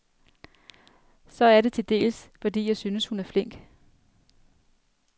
Så er det til dels, fordi jeg synes, hun er flink.